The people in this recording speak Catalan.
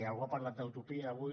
algú ha parlat d’utopia avui